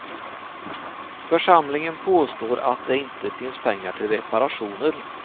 Församlingen påstår att det inte finns pengar till reparationer.